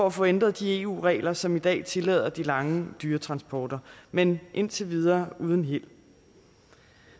at få ændret de eu regler som i dag tillader de lange dyretransporter men indtil videre uden held